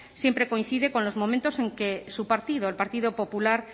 siempre coincide con los momentos en que su partido el partido popular